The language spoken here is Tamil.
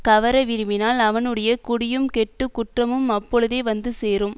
கவர விரும்பினால் அவனுடைய குடியும் கெட்டு குற்றமும் அப்போழுதே வந்து சேரும்